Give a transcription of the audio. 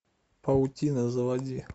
паутина заводи